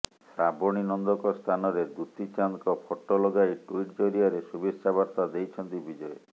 ଶ୍ରାବଣୀ ନନ୍ଦଙ୍କ ସ୍ଥାନରେ ଦୂତୀ ଚାନ୍ଦଙ୍କ ଫଟୋ ଲଗାଇ ଟ୍ୱିଟ୍ ଜରିଆରେ ଶୁଭେଚ୍ଛା ବାର୍ତା ଦେଇଛନ୍ତି ବିଜୟ